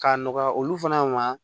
K'a nɔgɔya olu fana ma